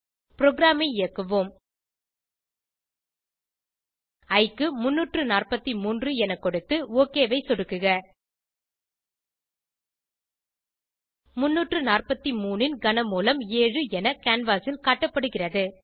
ப்ரோகிராமை இயக்குவோம் இ க்கு 343 என கொடுத்து ஒக் ஐ சொடுக்குக 343 ன் கன மூலம் 7 என கேன்வாஸ் ல் காட்டப்படுகிறது